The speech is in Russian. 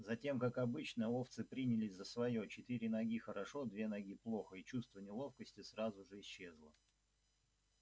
затем как обычно овцы принялись за своё четыре ноги хорошо две ноги плохо и чувство неловкости сразу же исчезло